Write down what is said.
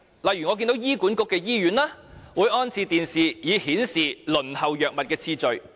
例如醫院管理局轄下的醫院均有安裝電視機，以顯示輪候藥物的次序。